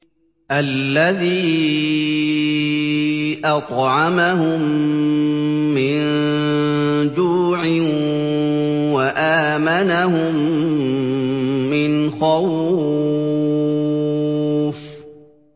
الَّذِي أَطْعَمَهُم مِّن جُوعٍ وَآمَنَهُم مِّنْ خَوْفٍ